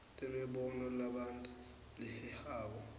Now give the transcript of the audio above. temibono lebanti lehehako